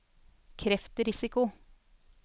kreftrisiko